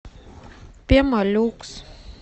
пемолюкс